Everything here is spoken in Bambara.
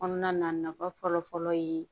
Kɔnɔna na nafa fɔlɔfɔlɔ ye